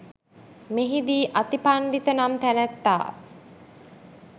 මෙහිදී අතිපණ්ඩිත නම් තැනැත්තා